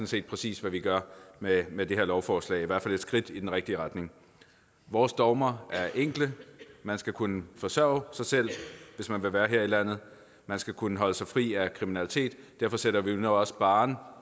set præcis hvad vi gør med med det her lovforslag i hvert fald et skridt i den rigtige retning vores dogmer er enkle man skal kunne forsørge sig selv hvis man vil være her i landet og man skal kunne holde sig fri af kriminalitet derfor sætter vi nu også barren